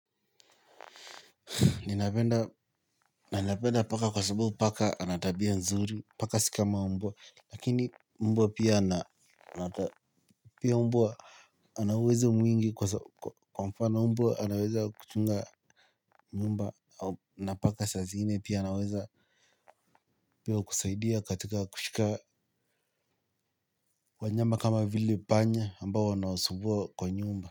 Ninapenda paka kwa sabubu paka ana tabia nzuri paka si kama mbwa lakini mbwa pia na pia mbwa ana uwezo mwingi kwa mfano mbwa anaweza kuchunga nyumba na paka saa zingine pia anaweza pia kusaidia katika kushika wanyama kama vile panya ambao anawsumbua kwa nyumba.